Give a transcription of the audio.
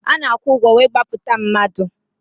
A na-akwụ ụgwọ wee gbapụta mmadụ.